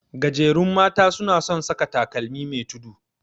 Gajerun mata suna son saka takalmi me tudu.